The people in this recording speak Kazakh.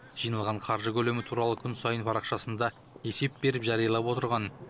жиналған қаржы көлемі туралы күн сайын парақшасында есеп беріп жариялап отырған